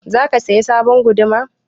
Za ka saya sabon guduma?